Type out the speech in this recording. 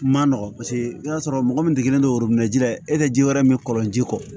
Ma nɔgɔ paseke i y'a sɔrɔ mɔgɔ min degelen do ji la e ka ji wɛrɛ min kɔlɔn ji kɔ